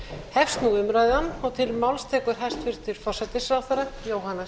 hefst nú umræðan og til máls tekur hæstvirtur forsætisráðherra jóhanna